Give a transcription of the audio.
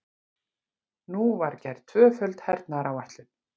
Nú var gerð tvöföld hernaðaráætlun.